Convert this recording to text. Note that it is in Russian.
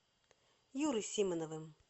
юрой симоновым